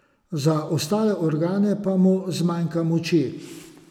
Za ostale organe pa mu zmanjka moči.